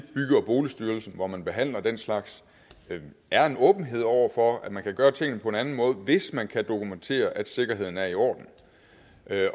bygge og boligstyrelsen hvor man behandler den slags er en åbenhed over for at man kan gøre tingene på en anden måde hvis man kan dokumentere at sikkerheden er i orden